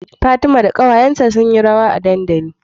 Fatima da ƙawayanta sun yi rawa a dandali